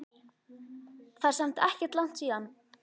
Það er samt ekkert langt síðan.